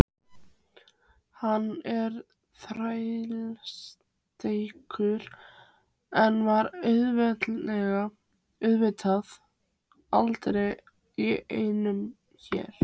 Hann er þrælsterkur en var auðvitað aldrei í neinum her.